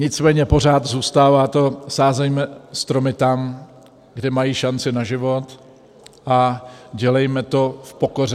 Nicméně pořád zůstává to - sázejme stromy tam, kde mají šanci na život, a dělejme to v pokoře.